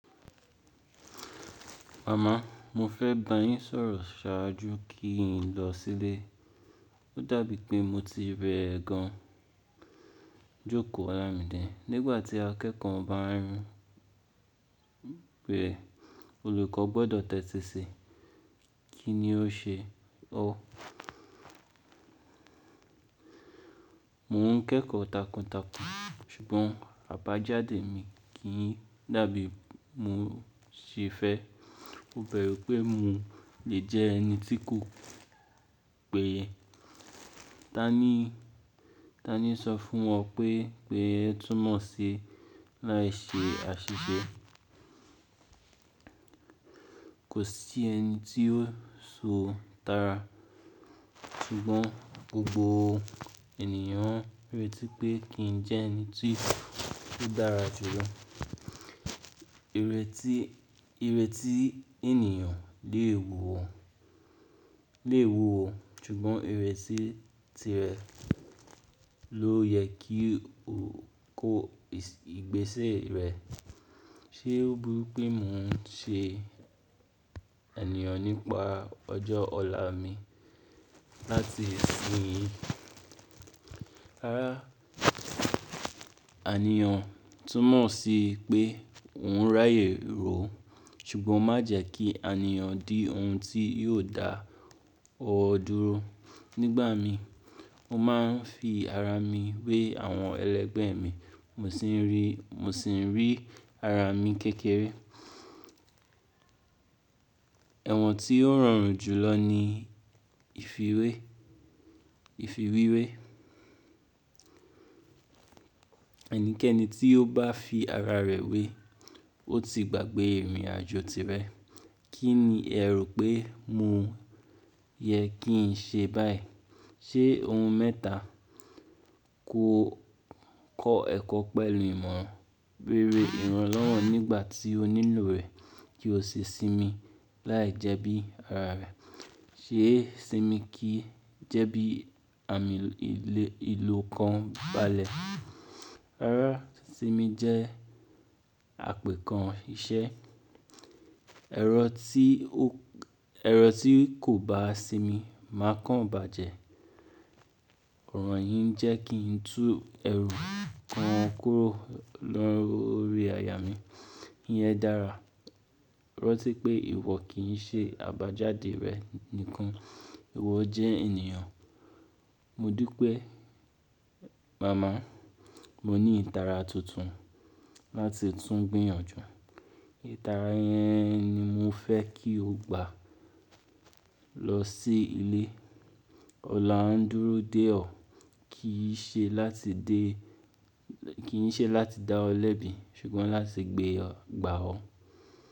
Mama, mo fẹ́ bá yín sọ̀rọ̀ ṣáájú kí n lọ sílé. Ó dàbí pé mo ti rẹ gan. Jóko Olamide, nígbà tí akẹ́kọ̀ọ́ bá ń rùn bẹ̀, olùkọ́ gbọ́dọ̀ tẹ́tí sí i. Kí ni o ṣe ọ́? Mò ń kẹ́kọ̀ọ́ takuntakun ṣùgbọ́n àbájáde mi kì ń dàbí mo ṣe fẹ́. Ó bẹru pé mo lè jẹ́ ẹni tí kò pé. Tani, Tani sọ fún ọ pé, pé ẹ túmọ̀ sí láì ṣe àṣìṣe. Kò sí ẹni tí ó so tara. Ṣùgbọ́n gbogbo ènìyàn rètí pé kí n jẹ́ ẹni tí ó dára jù lọ. Ìrètí, ìrètí ènìyàn lè wù ọ, lè wù ọ ṣùgbọ́n ìrètí tirẹ̀ ló yẹ kí o kó ìgbésẹ̀ rẹ. Ṣé ó burú pé mò ń ṣe Enìyàn nípa ọjọ́ ọ̀la mi láti ìsìnyí? Ara anìyàn túmọ̀ sí pé òun ráyè ró ṣùgbọ́n má jẹ́ kí anìyàn di ohun tí yóò dá ọ dúró. Nígbà mii, mo máa ń fi ara mi wé àwọn ẹlẹgbẹ́e mi. Mo sì ń rí, mo sì ń rí ara mi kékeré. Ewọ̀n tí ó rọrùn jù lọ ni ìfiwé, ìfi wíwé. Ẹnikẹ́ni tí ó bá fi ara rẹ̀ wé, ó ti gbàgbé ìrìnàjò tirẹ̀. Kí ni ẹ rò pé mo yẹ kí n ṣe báyìí? Ṣé ohun mẹ́ta kò kọ́ ẹ̀kọ́ pẹ̀lú ìmọ̀ rere ìrànlọ́wọ́ nígbà tí onílù rẹ̀ kí ó ṣi sinmi láì jẹ́ bí ara rẹ̀. Ṣe sinmi kì í jẹ́ bí àmì le ìlú kan balẹ̀ ara sinmi jẹ́ àpè kan iṣẹ́. Ẹ̀rọ tí o, ẹ̀rọ tí kò bá sinmi máa kan bàjẹ́. Òrọ̀ yín jẹ́ kí n tú ẹrù kan kúrò lọ́ri àyà mí. Iyẹn dára. Rántí pé ìwọ kì í ṣe àbájáde rẹ nìkan, ìwọ jẹ́ ènìyàn. Mo dú mama, mo ní ìtara tuntun láti tún gbìyànjú. Ìtara yẹn ni mo fẹ́ kí o gbà lọ sí ilé. Ọ̀la ń dúró dè ọ́. Kìí ṣe láti dé, kìí ṣe láti dá ọ lẹ́bi ṣùgbọ́n láti gbé ọ gbà ọ́.